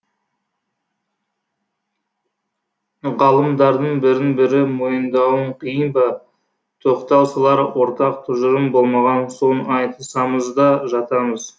ғалымдардың бірін бірі мойындауы қиын ба тоқтау салар ортақ тұжырым болмаған соң айтысамыз да жатамыз